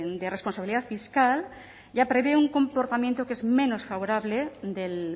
de responsabilidad fiscal ya prevé un comportamiento que es menos favorable del